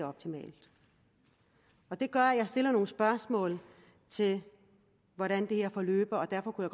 optimalt det gør at jeg stiller nogle spørgsmål til hvordan det her forløber og derfor kunne